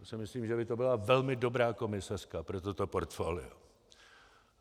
Já si myslím, že by to byla velmi dobrá komisařka pro toto portfolio.